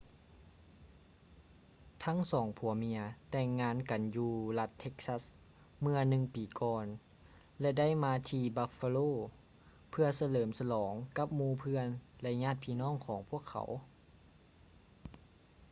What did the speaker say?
ທັງສອງຜົວເມຍແຕ່ງງານກັນຢູ່ລັດ texas ເມື່ອໜຶ່ງປີກ່ອນ ແລະ ໄດ້ມາທີ່ buffalo ເພື່ອສະເຫຼີມສະຫຼອງກັບໝູ່ເພື່ອນ ແລະ ຍາດພີ່ນ້ອງຂອງພວກເຂົາ